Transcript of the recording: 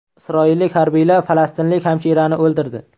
Isroillik harbiylar falastinlik hamshirani o‘ldirdi.